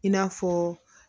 I n'a fɔ